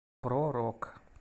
про рок